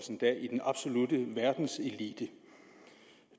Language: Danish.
i den absolutte verdenselite